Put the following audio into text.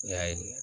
N y'a ye